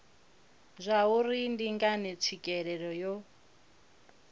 zwauri ndi ngani tswikelelo yo